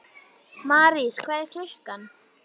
Marís, hvað er klukkan?